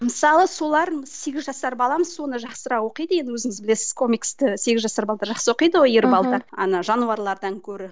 мысалы солар сегіз жасар балам соны жақсырақ оқиды енді өзіңіз білесіз комиксті сегіз жасар жақсы оқиды ғой ер ана жануарлардан көрі